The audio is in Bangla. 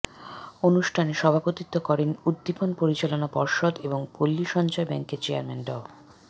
অনুষ্ঠানে সভাপতিত্ব করেন উদ্দীপন পরিচালনা পর্ষদ এবং পল্লী সঞ্চয় ব্যাংকের চেয়ারম্যান ড